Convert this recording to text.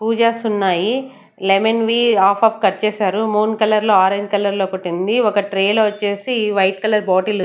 పూజాస్ ఉన్నాయి లెమన్ వి half half cut చేశారు మూన్ కలర్ లో ఆరెంజ్ కలర్ లో ఒకటి ఉంది ఒక ట్రే లో వచ్చేసి వైట్ కలర్ బాటిల్ .